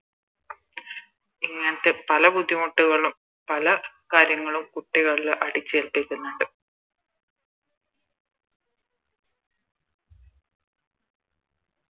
പല ബുദ്ധിമുട്ടുകളും പല കാര്യങ്ങളും കുട്ടികളില് അടിച്ചേൽപ്പിക്കുന്നുണ്ട്